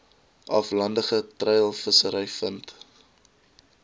aflandige treilvissery vind